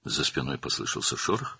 Kürəyindən bir xışıltı gəldi.